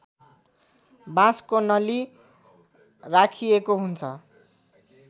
बाँसको नली राखिएको हुन्छ